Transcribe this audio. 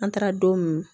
An taara don min